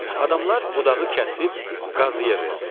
Adamlar budağı kəsib qazıya verdi.